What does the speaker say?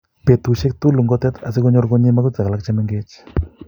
Betusiek tugul ngotet asikonyor konyi magutik alak chemengech